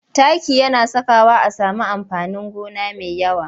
Taki yana sakawa a sami amfanin gona mai yawa.